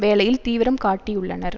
வேலையில் தீவிரம் காட்டியுள்ளனர்